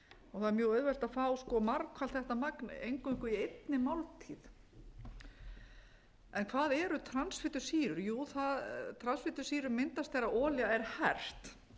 er mjög auðvelt að fá margfalt þetta magn eingöngu í einni máltíð hvað eru transfitusýrur jú transfitusýrur myndast þegar olía er hert